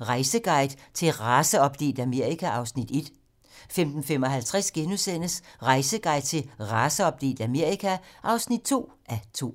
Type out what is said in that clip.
Rejseguide til et raceopdelt Amerika (1:2)* 15:55: Rejseguide til et raceopdelt Amerika (2:2)*